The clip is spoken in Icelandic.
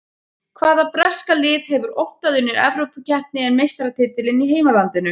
Hvaða breska lið hefur oftar unnið Evrópukeppni en meistaratitilinn í heimalandinu?